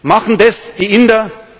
Machen das die